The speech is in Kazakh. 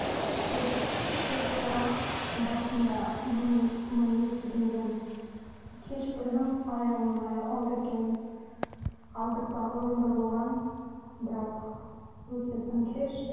төрт төрт айлық басында мұны мұны естігенде кеш білдім аяғым ауыр екенін алдыртпақ ойымда болған бірақ өте тым кеш